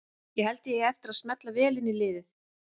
Ég held að ég eigi eftir að smella vel inn í liðið.